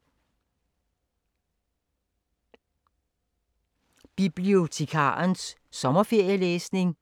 Bibliotekarernes sommerferielæsning